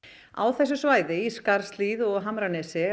á þessu svæði í Skarðshlíð og hamranesi